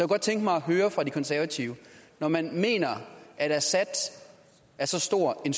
godt tænke mig at høre fra de konservative når man mener at assad er så stor en